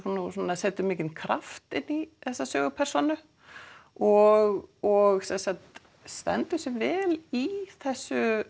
eða setur mikinn kraft inn í þessa sögupersónu og og sem sagt stendur sig vel í þessu